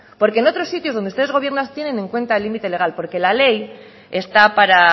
porque en otros sitios donde ustedes gobiernan tienen en cuenta el límite legal porque la ley está para